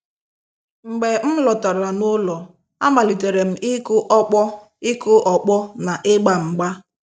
Mgbe m lọtara n'ụlọ, amalitere m ịkụ ọkpọ ịkụ ọkpọ na-ịgba mgba.